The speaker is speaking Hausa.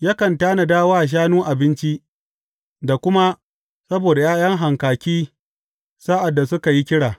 Yakan tanada wa shanu abinci da kuma saboda ’ya’yan hankaki sa’ad da suka yi kira.